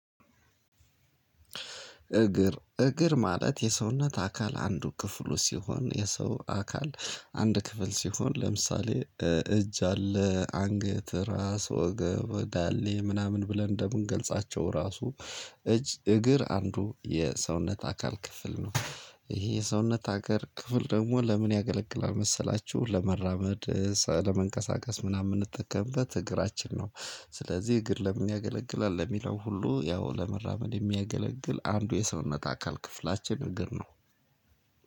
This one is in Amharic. እግር እግር ማለት የሰውነት አካል አንዱ ክፍሉ ሲሆን የሰው አካል አንድ ክፍል ሲሆን ለምሳሌ እጅ አለ አንገት ራስ ወገብ ወዳሌ ምናምን ብለን እንደምንገልጻቸው ራሱ እጅ እግር አንዱ የሰውነት አካል ክፍል ነው። ይሄ የሰውነት አካል ክፍል ደግሞ ለምን ያገለግላል መሰላችሁ ለመራመድ ለመንቀሳቀስ ምናምን የምንጠቀምበት እግራችን ነው ስለዚህ እግር ለምን ያገለግላል ለሚለው ሁሉ ያው ለመራመድ የሚያገለግል አንዱ የሰውነት አካል ክፍላችን እግር ነው።